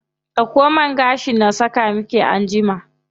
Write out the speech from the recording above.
Dauko man gashin na saka miki anjima.